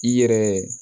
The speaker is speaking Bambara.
I yɛrɛ